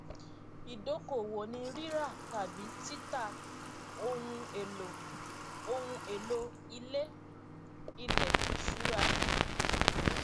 ìdókòwò ni rírà tàbí títà ohun èlò ohun èlò ilé ilẹ ìṣura